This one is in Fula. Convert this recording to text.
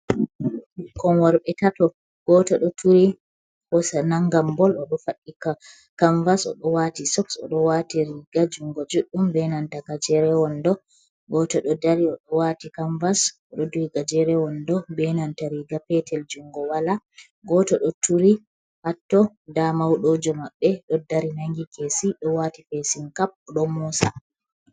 Ɓikkon worɓe tato, gooto ɗo turi hoosa nangan bol, o ɗo faɗɗi kamvas, o ɗo waati soks, o ɗo waati riiga jungo juuɗɗum, be nanta gjeren-wando. Gooto ɗo dari, o ɗo waati kamvas, o ɗo duhi gajeren-wando, ɗo be nanta riiga peetel, jungo walaa, gooto ɗo turi ha totton. Ndaa mawɗoojo maɓɓe ɗo dari nangi keesi, ɗo waati fesin-kap, ɗo moosa.